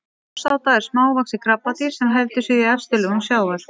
ljósáta er smávaxið krabbadýr sem heldur sig í efstu lögum sjávar